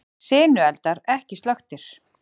Sinueldar ekki slökktir